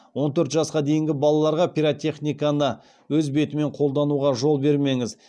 он төрт жасқа дейінгі балаларға пиротехниканы өз бетімен қолдануға жол бермеңіз